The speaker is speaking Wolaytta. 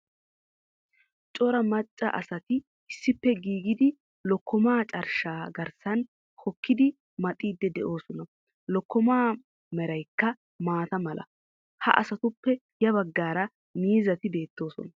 Cora macca asati issippe gididi lokkomaa carshshaa garssan hokkidi maxiidi de'oosona. Lokkomaa meraykka maataa mala. Ha asatuppe ya baggaara miizzati bettoosona.